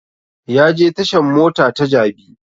Ya je tashan mota ta jabi